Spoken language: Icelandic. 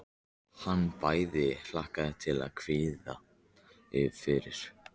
Hann bæði hlakkaði til og kveið fyrir.